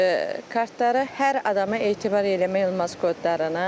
kartları hər adama etibar eləmək olmaz kodlarını.